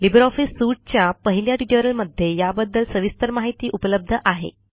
LibreOffice Suiteच्या पहिल्या ट्युटोरियलमध्ये याबद्दल सविस्तर माहिती उपलब्ध आहे